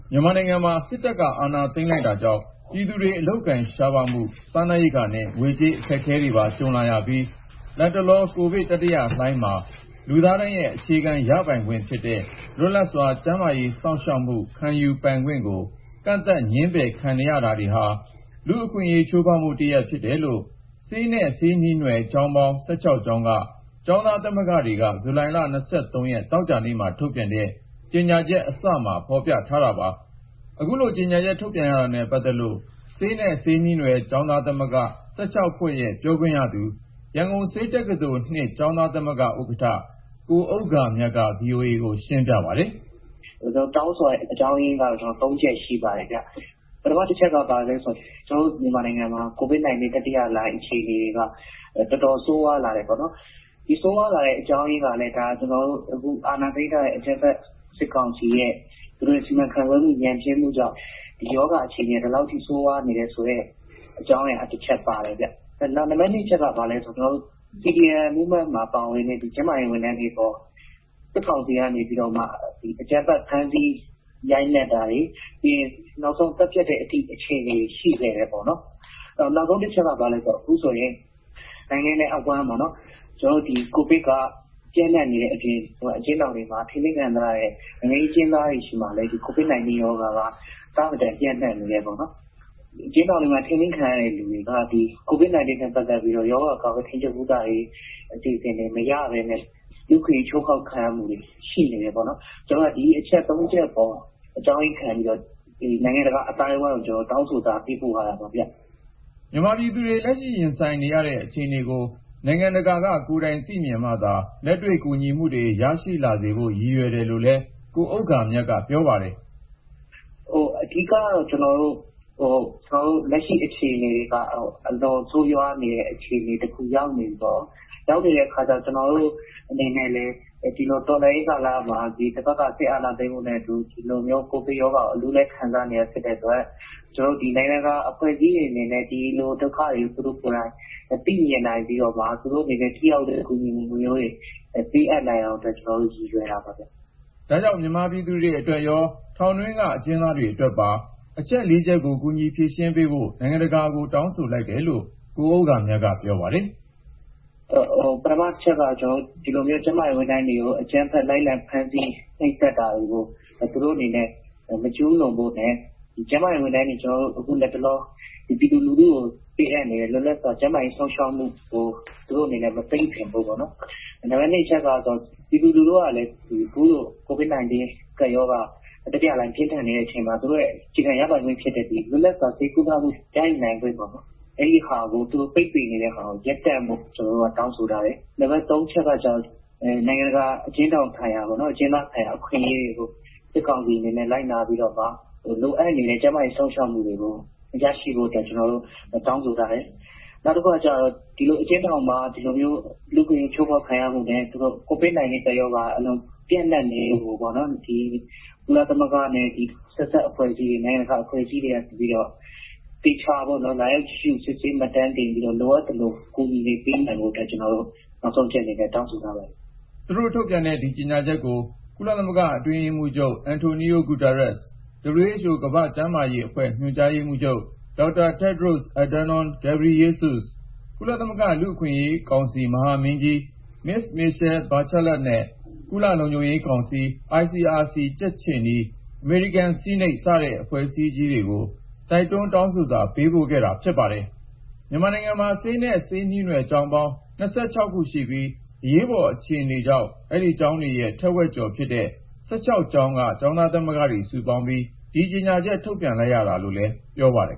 မြန်မာနိုင်ငံမှာ စစ်တပ်က အာဏာသိမ်းလိုက်တာကြောင့် ပြည်သူတွေ အလုပ်အကိုင်ရှားပါးမှု၊ စားနပ်ရိက္ခာနဲ့ ငွေကြေး အခက်အခဲတွေပါ ကြုံလာရပြီး၊ လတ်တလော ကိုဗစ် တတိယလှိုင်းမှာလူသားတိုင်းရဲ့ အခြေခံရပိုင်ခွင့်ဖြစ်တဲ့ လွတ်လပ်စွာ ကျန်းမာရေးစောင့်ရှောက်မှု ခံယူပိုင်ခွင့်ကို ကန့်သတ် ငြင်းပယ်ခံနေရတာတွေဟာ လူ့အခွင့်အရေး ချိုးဖေါက်မှုတရပ် ဖြစ်တယ်လို့ဆေးနဲ့ ဆေးနှီးနွယ် ကျောင်းပေါင်း (၁၆) ကျောင်းက ကျောင်းသားသမဂ္ဂတွေက ဇူလိုင်လ (၂၃)ရက် သောကြာနေ့မှာ ထုတ်ပြန်တဲ့ ကြေညာချက်အစမှာ ဖေါ်ပြထားတာပါ။ အခုလို ကြေညာချက် ထုတ်ပြန်ရတာနဲ့ ပတ်သက်လို့ဆေးနဲ့ ဆေးနှီးနွယ် ကျောင်းသားသမဂ္ဂ(၁၆)ဖွဲ့ရဲ့ ပြောခွင့်ရသူ ရန်ကုန်ဆေးတက္ကသိုလ်(၂) ကျောင်းသားသမဂ္ဂ ဥက္ကဌ ကိုဥဂ္ဂါမြတ်က VOA ကို ရှင်းပြပါတယ်။ " ဒီလိုတောင်းဆိုရတဲ့ အကြောင်းရင်းကတော့ (၃)ချက်ရှိပါတယ်။ ပထမ တချက်က ကျနော်တို့မြန်မာနိုင်ငံမှာ ကိုဗစ် တတိယလှိုင်းအခြေအနေတွေက တော်တော် ဆိုးဝါးတာပေါ့နော်။ ဒီလို ဆိုးဝါးလာတဲ့ အကြောင်းရင်းကလည်း ကျနော်တို့အခု အာဏာသိမ်းထားတဲ့ အကြမ်းဖက် စစ်ကောင်စီရဲ့ စီမံခန့်ခွဲမှု ညံ့ဖျင်းမှုကြောင့် ဒီရောဂါအခြေအနေက ဒီလောက်ထိ ဆိုးလာတဲ့ အကြောင်းအရာတချက် ပါတယ်ခင်ဗျ။ နောက် နံပါတ်နှစ် အချက်က CDM လှုပ်ရှားမှုမှာပါတဲ့ ကျန်းမာရေးဝန်ထမ်းတွေအပေါ် စစ်ကောင်စီက အကြမ်းဖက်ဖမ်းဆီး ရိုက်နှက်တာတွေ ၊ နောက်ဆုံး သတ်ဖြတ်တဲ့ အခြေနေတွေအထိ ရှိခဲ့တယ်ပေါ့နော်။ နောက်ဆုံးတချက်က ဘာလဲဆိုတော့ ခုဆိုရင် နိုင်ငံနဲ့အဝှမ်းမှာ ကိုဗစ်က ပျံ့နှံ့နေတဲ့အပြင် အကျဉ်းထောင်တွေမှာ ထိန်းသိမ်းခံထားရတဲ့ နိုင်ငံရေးအကျဉ်းသားတွေ ဆီမှာလည်း ဒီကိုဗစ်-19 ရောဂါက အဆမတန် ပျံ့နှံ့ နေတယ်ပေါ့နော်။ အကျဉ်းထောင်တွေမှာ ထိန်းသိမ်းခံနေရတဲ့ လူတွေက ကိုဗစ်-19 နဲ့ပတ်သက်ပြီးတော့ ရောဂါ ကာကွယ်ထိန်းချုပ် ကုသရေး အစီအစဉ်တွေ မရပဲနဲ့ လူ့အခွင့်ရေး ချိုးဖေါက်မှုတွေ ရှိနေတယ်ပေါ့နော်။ ဒီအချက် ၃ ချက်အပေါ် အကြောင်းရင်းခံပြီးတော့ နိုင်ငံတကာ အသိုင်းအဝိုင်းကို တောင်းဆိုစာ ပေးပို့ထားတာပါဗျ။ " မြန်မာပြည်သူတွေ လက်ရှိရင်ဆိုင်နေရတဲ့ အခြေအနေကို နိုင်ငံတကာက ကိုယ်တိုင်သိမြင်မှသာ လက်တွေ့ ကူညီမှုတွေ ရရှိလာစေဖို့ ရည်ရွယ်တယ်လို့လည်း ကိုဥဂ္ဂါမြတ်က ပြောပါတယ်။ " အဓိကတော့ ကျနော်တို့ လက်ရှိအခြေအနေက အလွန်ဆိုးရွားနေတဲ့ အခြေအနေတခု ရောက်နေပြီပေါ့။ ရောက်နေတဲ့ အခါကျတော့ ကျနော်တို့အနေနဲ့လည်း ဒီတော်လှန်ရေးကာလမှာ ဒီစစ်အာဏာသိမ်းမှုနဲ့အတူ ဒီလိုမျိုး ကိုဗစ်ရောဂါကို အလူးအလဲ ခံစားနေရတာ ဖြစ်တဲ့အတွက် နိုင်ငံတကာအဖွဲ့အစည်းတွေ အနေနဲ့ ဒီလိုဒုက္ခတွေကို သူတို့ကိုယ်တိုင် သိမြင်နိုင်ပြီးတော့မှ သူတို့အနေနဲ့ ထိရောက်တဲ့ကူညီမှုမျိုးတွေ ပေးအပ်နိုင်အောင်အတွက် ကျနော်တို့ ရည်ရွယ်တာပါ။" ဒါကြောင့် မြန်မာပြည်သူတွေအတွက်ရော ၊ ထောင်တွင်းက အကျဉ်းသားတွေအတွက်ပါအချက်(၄)ကို ကူညီဖြေရှင်းပေးဖို့ နိုင်ငံတကာကို တောင်းဆိုလိုက်တယ်လို့ ကိုဥဂ္ဂါမြတ်က ပြောပါတယ်။ " ပထမတချက်က ကျန်းမာရေးဝန်ထမ်းတွေကို လိုက်လံဖမ်းဆီး နှိပ်စက်တာတွေကို သူတို့အနေနဲ့ မကျူးလွန်ဖို့နဲ့ ကျန်းမာရေးဝန်ထမ်းတွေ အခု လတ်တလော ပြည်သူလူထုကို ပေးအပ်နေတဲ့ လွတ်လပ်စွာ ကျန်းမာရေးစောင့်ရှောက်မှုကို သူတို့အနေနဲ့ မပိတ်ပင်ဖို့ပေါ့နော်။ နံပါတ် ၂ က ပြည်သူလူထုကလည်း အခုလို ကိုဗစ်-19 ကပ်ရောဂါ တတိယလှိုင်း ပြင်းထန်နေတဲ့အချိန်မှာ သူတို့ရဲ့အခြေခံ ရပိုင်ခွင့်ဖြစ်တဲ့ လွတ်လပ်စွာ ဆေးကုသမှု ရယူနိုင်ခွင့်ပေ့ါနော်။ အဲဒီဟာကို သူတို့ ပိတ်ပင်နေတဲ့ဟာကို ရပ်တန့်ဖို့ ကျနော်တို့ တောင်းဆိုတယ်။ နံပါတ် ၃ က နိုင်ငံတကာ အကျဉ်းထောင်ဆိုင်ရာ ၊ အကျဉ်းသားဆိုင်ရာ အခွင့်အရေးတွေကို စစ်ကောင်စီအနေနဲ့ လိုက်နာပြီးတော့မှ လိုအပ်နေတဲ့ ကျန်းမာရေး စောင့်ရှောက်မှုတွေကို ရရှိဖို့အတွက် ကျနော်တို့တောင်းဆိုထားတယ်။ နောက်တခုက အကျဉ်းထောင်မှာ ဒီလိုမျိုး လူ့အခွင့်အရေး ချိုးဖေါက်ခံရမှုနဲ့ ကိုဗစ်ကပ်ရောဂါ ပျံ့နှံ့နေမှုကိုပေါ့နော် ကုလသမဂ္ဂနဲ့ ဆက်စပ်တဲ့ နိုင်ငံတကာ အဖွဲ့အစည်းတွေက နေပြီးတော့ ၊ သေချာပေါ့နော် လာရောက်ကြည့်ရှု စစ်ဆေးမှတ်တမ်းတင်ပြီးတော့ လိုအပ်သလို အကူအညီတွေ ပေးနိုင်ဖို့အတွက် နောက်ဆုံးအချက်အနေနဲ့ ကျနော်တို့ တောင်းဆိုထားပါတယ်။" သူတို့ထုတ်ပြန်တဲ့ ကြေညာချက်ကို ကုလအတွင်းရေးမှူးချုပ် အန်တိုနီယို ဂူတဲရက်စ်၊ WHO ကမ္ဘာ့ကျန်းမာရေးအဖွဲ့ ညွှန်ကြားရေးမှူးချုပ် ဒေါက်တာ တက်ဒ်ရို့စ် အက်ဒါနွန်း ဂေဘရီယေးဆု့စ်၊ ကုလသမဂ္ဂ လူ့အခွင့်အရေးကောင်စီ မဟာမင်းကြီး မစ္စ မီရှဲ ဘတ်ချာလက်နဲ့ ကုလ လုံခြုံရေးကောင်စီ၊ ICRC ကြက်ခြေနီ ၊ အမေရိကန်ဆီးနိတ် စတဲ့ အဖွဲ့အစည်းကြီးတွေကို တိုက်တွန်းတောင်းဆိုစာ ပေးပို့ခဲ့တာ ဖြစ်ပါတယ်။ မြန်မာနိုင်ငံမှာ ဆေးနဲ့ဆေးနှီးနွယ် ကျောင်းပေါင်း (၂၆)ကျောင်းရှိပြီး အရေးပေါ်အခြေအနေကြောင့် အဲဒီကျောင်းတွေရဲ့ ထက်ဝက်ကျော်ဖြစ်တဲ့ (၁၆)ကျောင်းက ကျောင်းသားသမဂ္ဂတွေစုပေါင်းပြီး ဒီကြေညာချက် ထုတ်ပြန်လိုက်ရတာလို့လည်း ပြောပါတယ်